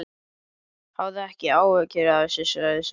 Hafðu ekki áhyggjur af þessu, sagði Sveinn.